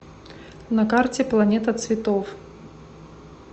на карте планета цветов